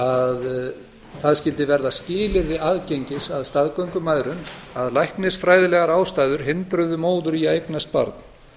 að það skyldi verða skilyrði aðgengis að staðgöngumæðrun að læknisfræðilegar ástæður hindruðu móður í að eignast barn